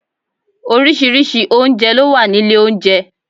Orísìírísìí oúnjẹ ló wá nílé oúnjẹ